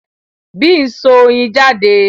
Bee n so oyin jade